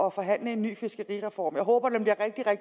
at forhandle en ny fiskerireform